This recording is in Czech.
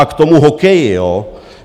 A k tomu hokeji, jo?